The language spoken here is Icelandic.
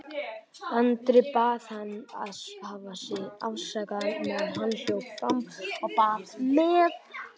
Andri bað hann að hafa sig afsakaðan meðan hann hljóp fram á bað með